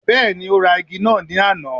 Bẹ́ẹ̀ni, ó ra igi náà ní àná.